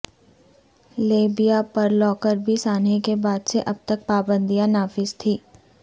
Libya پر Lockerbie سانحے کے بعد سے اب تک پابندیاں نافذ تھیں